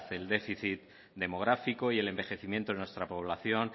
el déficit demográfico y el envejecimiento de nuestra población